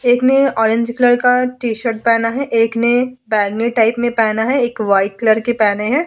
एक ने orange colour का टी-शर्ट पहना है एक ने बैगनी टाइप में पहना है एक व्हाइट कलर के पहने हैं ।